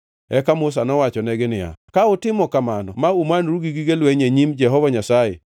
Eka Musa nowachonegi niya, “Ka utimo kamano ma umanoru gi gige lweny e nyim Jehova Nyasaye,